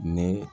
Ne